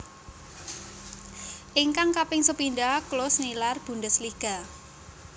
Ingkang kaping sepindhah Klose nilar Bundesliga